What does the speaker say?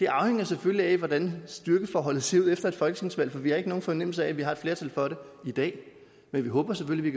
afhænger selvfølgelig af hvordan styrkeforholdet ser ud efter et folketingsvalg for vi har ikke nogen fornemmelse af at vi har et flertal for det i dag men vi håber selvfølgelig